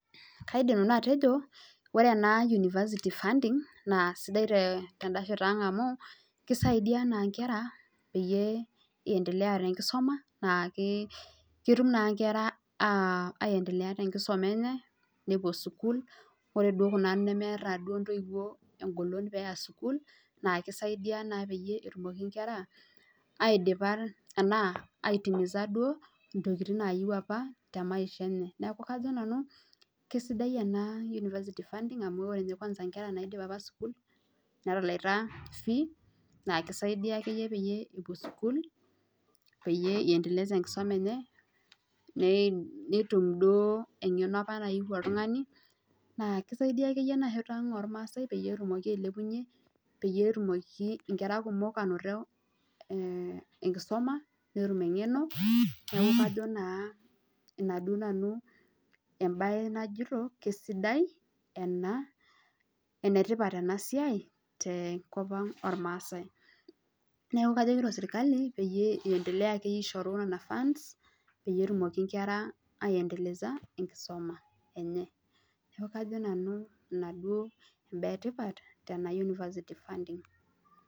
Kaidim nanu atejo ore ena university funding naa sidai teda shoto ang amu keisaidia Nkera pee endelea tee nkisuma naa ketum naa Nkera aendelea tee nkisuma enye nepuo sukuul ore Kuna nemeeta ntoiwuo egolon pee eya sukuul naa keisaidia pee etum Nena kera aitimiza ntokitin apa nayieu tee maisha enye neeku kajo nanu kisidai ena university funding amu ore ninye kwanza Nkera naidipa apa sukuul netela fee naa keisaidia pee epuo sukuul peeyie endeleza enkisuma enye ore duo eng'eno apa nayieu oltung'ani naa keisaidia akeyie enashoto ormaasai petumoki ailepunye petumoki nkera kumok anoto enkisuma netum eng'eno neeku kajo naa enaduo naanu mbae najoito kisidai ena enetipat ena siai tenkop ang ormaasai neeku kajo sirkali pee endelea akeyie aishooyo Nena fund peyie etumoki Nkera andeleza enkisuma enye neeku kajo Nanu ena mbaa etipat Tena university funding